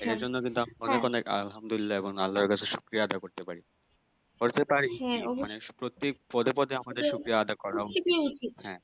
এই জন্য কিন্তু আলহামদুল্লিয়াহ এবং আল্লাহ এর কাছে শুকরিয়া আদাহ করতে পারি করতে পারি মানে প্রত্যেক পদে পদে আমাদের শুকিয়া করা উচিত হ্যাঁ